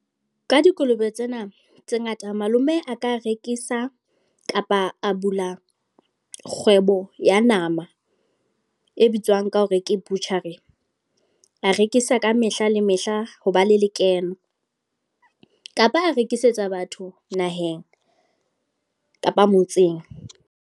Ka dikolobe tsena, tse ngata. Malome a ka rekisa, kapa a bula kgwebo ya nama. E bitswang ka hore ke butchery. A rekisa ka mehla le mehla ho ba le lekeno. Kapa a rekisetsa batho naheng, kapa motseng.